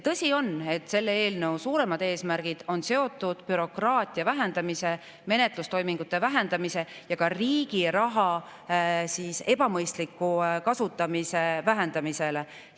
Tõsi on, et selle eelnõu suuremad eesmärgid on seotud bürokraatia vähendamise, menetlustoimingute vähendamise ja ka riigi raha ebamõistliku kasutamise vähendamisega.